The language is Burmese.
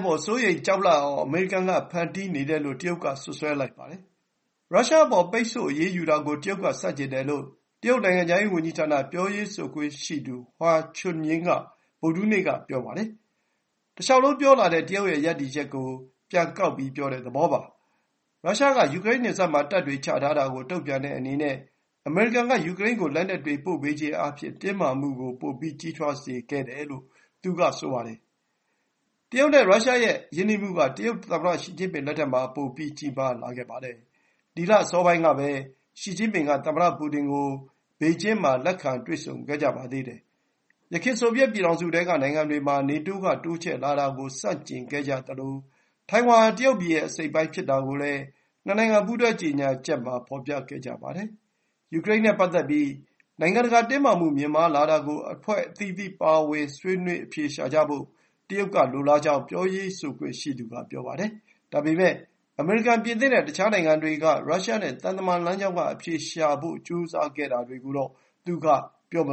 ပေါ် စိုးရိမ် ကြောက်လန့်အောင် အမေရိကန်ကဖန်တီးနေတယ်လို့ တရုတ်ကစွပ်စွဲလိုက်ပါတယ်။ ရုရှားအပေါ် ပိတ်ဆို့အရေးယူတာကို တရုတ်ကဆန့်ကျင်တယ်လို့ တရုတ်နိုင်ငံခြားရေးဝန်ကြီးဌာန ပြောရေးဆိုခွင့်ရှိသူ Hua Chunying က ဗုဒ္ဓဟူးနေ့က ပြောပါတယ်။ တလျှောက်လုံးပြောလာတဲ့ တရုတ်ရဲ့ရပ်တည်ချက်ကို ပြန်ကောက်တဲ့ သဘောပါ။ ရုရှားက ယူကရိန်းနယ်စပ်မှာ တပ်တွေချထာတာကို တုံ့ပြန်တဲ့အနေနဲ့ အမေရိကန်က ယူကရိန်းကို လက်နက်တွေ ပို့ပေးခြင်းအားဖြင့် တင်းမာမှုကို ပိုပြီး ကြီးထွားစေတတယ်လို့ သူကဆိုပါတယ်။ တရုတ်နဲ့ရုရှားရဲ့ရင်းနှီးမှုက တရုတ်သမ္မတရှီကျင်းပင်လက်ထက်မှာ ပို ပြီး ကြီးမားလာပါတယ်။ ဒီလအစောပိုင်းကပဲ ရှီကျင်းပင်က သမ္မတပူတင်ကို ဘေကျင်းမှာ တွေ့ဆုံခဲ့ကြပါသေးတယ်။ ယခင် ဆိုဗီယက် ပြည်ထောင်စုထဲက နိုင်ငံတွေ မှာ နေတိုးက တိုးချဲ့လာတာကို ဆန့်ကျင်ခဲ့ကြသလို ထိုင်ဝမ်ဟာ တရုတ်ပြည်ရဲ့ အစိတ်အပိုင်းဖြစ်တာကိုလည်း နှစ်နိုင်ငံ ပူးတွဲ ကြေညာချက်မှာ ဖော်ပြခဲ့ကြပါတယ်။ ယူကရိန်းနဲ့ ပတ်သက်ပြီး နိုင်ငံတကာတင်းမာမှု မြင့်မားလာတာကို အဖွဲ့အသီးသီး ပါဝင်ပြီး ဆွေးနွေးအဖြေရှာဖို့ တရုတ် က လိုလားကြောင်း ပြောရေးဆိုခွင့်ရှိသူက ပြောပါတယ်။ ဒါပေမဲ့ အမေရိကန် ပြင်သစ်နဲ့ တခြား နိုင်ငံတွေက ရုရှားနဲ့ သံတမန်လမ်းကြောင်းက အဖြေရှာဖို့ ကြိုးစားခဲ့တာတွေကိုတော့ သူက ပြောမ